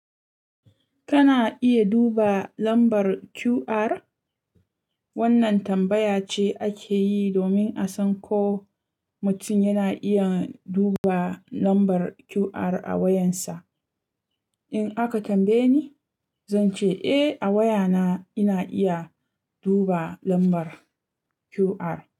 Kana iya duba lambar QR? Wannan tambaya ce ake yi domin a san ko mutum yana iya duba lambar QR a wayansa. In aka tambaye ni, zan ce eh, a wayana ina iya duba lambar QR.